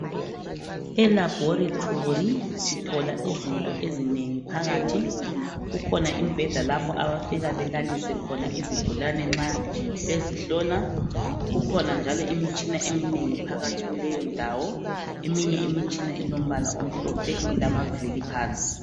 Elaboratory sithola izinto ezinengi phakathi kukhona imibheda lapho abafika belalise khona izigulane nxa bezihlola kukhona njalo imitshina eminengi phakathi kuleyondawo eminye imitshina ilombala omhlophe ilamavili phansi